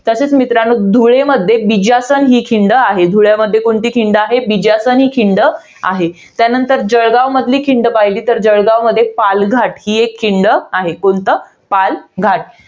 तसेच मित्रांनो, धुळेमध्ये बिज्यासन ही खिंड आहे. धुळेमध्ये कोणती खिंड आहे? बिज्यासन ही खिंड आहे. त्यानंतर जळगाव मधील खिंड पाहिली तर पालघाट ही एक खिंड आहे. कोणती? पालघाट.